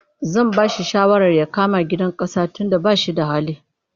Zan ba shi shawara ya kama hayar gidan ƙasa tunda ba shi da hali.